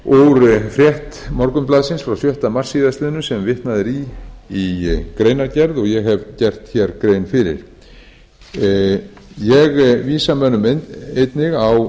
er viðtal út frétt morgunblaðsins frá sjötta mars síðastliðinn sem vitnað er í í greinargerð og ég hef gert hér grein fyrir ég vísa mönnum einnig á